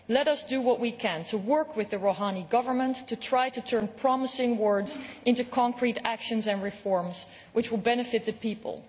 Let us do what we can to work with the Rouhani government to try to turn promising words into concrete actions and reforms which will benefit the people.